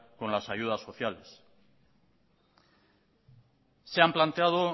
con las ayudas sociales se han planteado